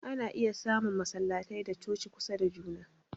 Ana iya samun masallatai da coci kusa da juna